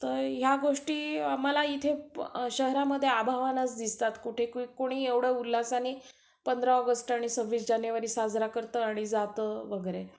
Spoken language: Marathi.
तर ह्या गोष्टी आम्हाला इथं शहरामध्ये अभावानंच दिसतात कुठे. कुणी एवढं उल्हासाने पंधरा ऑगस्ट आणि सव्वीस जानेवारी साजरा करतं आणि जातं वगैरे.